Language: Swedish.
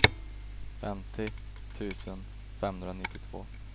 femtio tusen femhundranittiotvå